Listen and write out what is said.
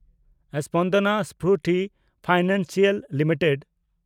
Spandana Sphoorty financial limited